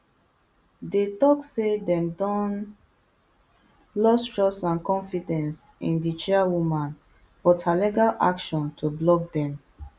dey tok say dem don lost trust and confidence in di chairwoman but her legal action to block dem